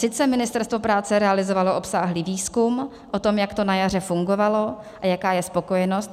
Sice Ministerstvo práce realizovalo obsáhlý výzkum o tom, jak to na jaře fungovalo a jaká je spokojenost.